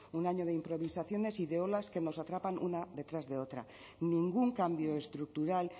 un año de improvisaciones y de olas que nos atrapan una detrás de otra ningún cambio estructural